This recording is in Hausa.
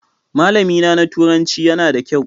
Malamina na turanci yana da kyau.